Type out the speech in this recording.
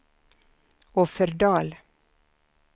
Offerdal